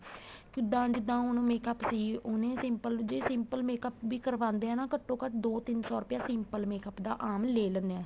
ਕਿੱਦਾ ਜਿੱਦਾ ਹੁਣ makeup ਸੀ ਉਹਨੇ simple ਜ਼ੇ simple makeup ਵੀ ਕਰਵਾਦੇ ਹਾਂ ਘੱਟੋ ਘੱਟ ਦੋ ਤਿੰਨ ਸੋ ਰੁਪਇਆ simple makeup ਆਮ ਲੇ ਲੈਨੇ ਆ